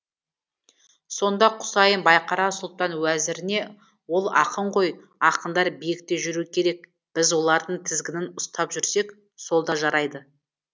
сонда құсайын байқара сұлтан уәзіріне ол ақын ғой ақындар биікте жүруі керек біз олардың тізгінін ұстап жүрсек сол да жарайды